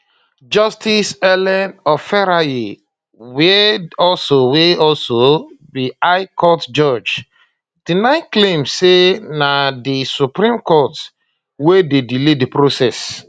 justice ellen oferayeh wia also wia also be high court judge deny claims say na di supreme court wey dey delay di process